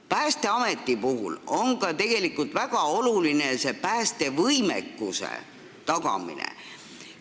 Päästeameti puhul on tegelikult väga oluline ka päästevõimekuse tagamine.